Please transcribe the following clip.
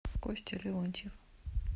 костя леонтьев